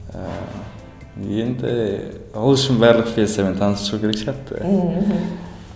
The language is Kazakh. ыыы енді ол үшін барлық пьесамен танысу керек сияқты мхм